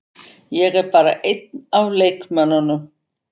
Ég er bara einn af leikmönnunum.